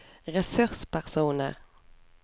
ressurspersoner